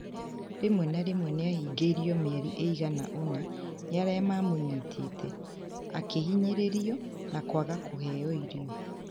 Rĩmwe na rĩmwe nĩ aahingirio mĩeri ĩigana ũna nĩ arĩa mamonyitĩte, akĩhinyĩrĩrio na kwaga kũhenyo irio.